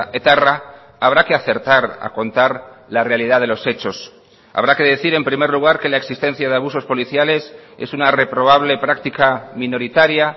etarra habrá que acertar a contar la realidad de los hechos habrá que decir en primer lugar que la existencia de abusos policiales es una reprobable práctica minoritaria